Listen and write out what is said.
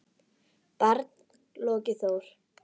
barn: Logi Þór.